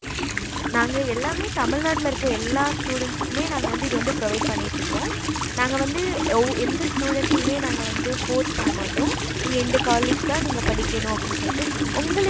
நாங்க எல்லாமே தமிழ்நாட்டுல எல்லா students க்குமே நாங்க வந்து இது provide பண்ணிட்டு இருக்கோம் நாங்க வந்து எந்த student நாங்க வந்து force பண்ணமாட்டோம் நீங்க இந்த college அப்படின்னு சொல்லிட்டு